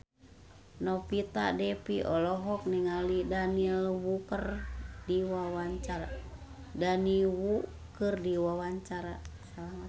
Novita Dewi olohok ningali Daniel Wu keur diwawancara